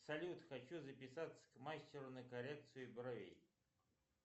салют хочу записаться к мастеру на коррекцию бровей